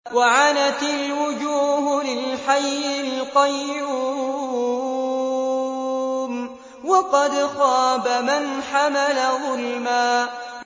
۞ وَعَنَتِ الْوُجُوهُ لِلْحَيِّ الْقَيُّومِ ۖ وَقَدْ خَابَ مَنْ حَمَلَ ظُلْمًا